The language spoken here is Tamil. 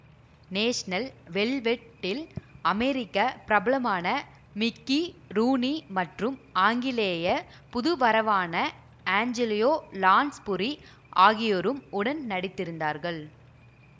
நேஷனல் வெல்வெட் டில் அமெரிக்க பிரபலமான மிக்கி ரூனி மற்றும் ஆங்கிலேய புதுவரவான ஏஞ்சலியோ லான்ஸ்புரி ஆகியோரும் உடன் நடித்திருந்தார்கள்